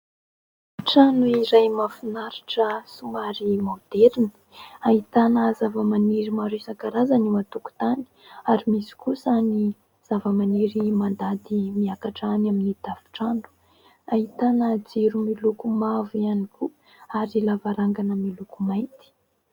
Trano iray mahafinaritra somary maoderina, ahitana zava-maniry maro isan-karazany eo an-tokotany ary misy kosa ny zava-maniry mandady miakatra any amin'ny tafotrano, ahitana jiro miloko mavo ihany koa ary lavarangana miloko mainty.